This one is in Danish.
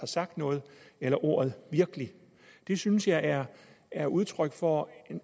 sagt noget eller ordet virkelig det synes jeg er er udtryk for